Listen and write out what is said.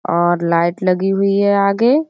और लाइट लगी हुई है आगे --